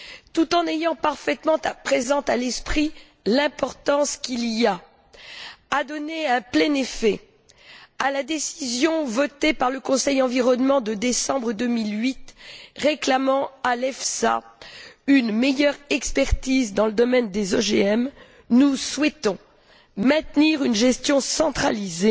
Tout en ayant parfaitement présente à l'esprit l'importance qu'il y a de donner un plein effet à la décision votée par le Conseil environnement de décembre 2008, réclamant à l'EFSA une meilleure expertise dans le domaine des OGM, nous souhaitons maintenir une gestion centralisée,